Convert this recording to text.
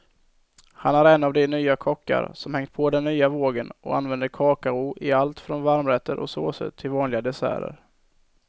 Han är en av de kockar som hängt på den nya vågen och använder kakao i allt från varmrätter och såser till vanliga desserter.